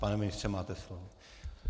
Pane ministře, máte slovo.